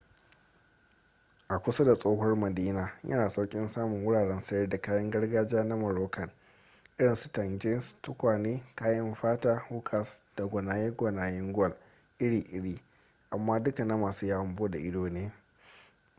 a kusa da tsohuwar madina yana da sauƙin samun wuraren sayar da kayan gargajiya na moroccan irin su tagines tukwane kayan fata hookahs da gwanayen gwal iri-iri amma duka na masu yawon bude ido ne